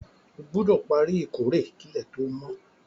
O gbúdò pari ìkórè kílẹ̀ to mo